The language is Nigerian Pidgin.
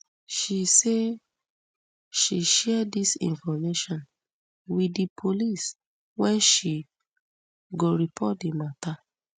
she say she share dis information wit di police wen she go report di mata